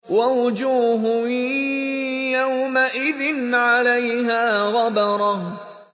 وَوُجُوهٌ يَوْمَئِذٍ عَلَيْهَا غَبَرَةٌ